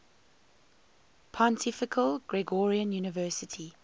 pontifical gregorian university